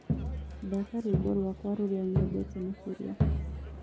thaka rwĩmbo rwakwa rũrĩa nyendete makĩrĩa